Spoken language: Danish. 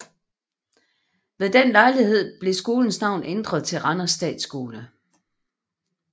Ved den lejlighed blev skolens navn ændret til Randers Statskole